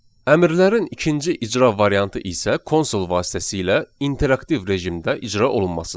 Əmrlərin ikinci icra variantı isə konsol vasitəsilə interaktiv rejimdə icra olunmasıdır.